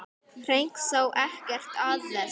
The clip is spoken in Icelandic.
Henrik sá ekkert að þessu.